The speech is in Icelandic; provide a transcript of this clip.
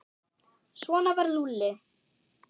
Svona var Lúlli.